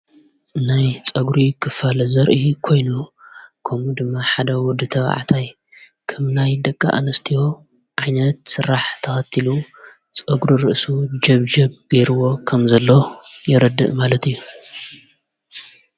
ናይ ጸጕሪ ኽፋል ዘርኢ ኮይኑ ከምኡ ድማ ሓደ ወዲ ተብዕታይ ከም ናይ ደቃ ኣንስቲዎ ዓይነት ሥራሕ ተሃቲሉ ጸጕሪ ርእሱ ጀብ ጀብ ገይርዎ ከም ዘለ የረድእ ማለት እዩ።